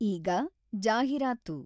ಈಗ ಜಾಹೀರಾತು.